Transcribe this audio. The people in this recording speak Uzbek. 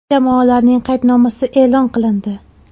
Jamoalarning qaydnomasi e’lon qilindi.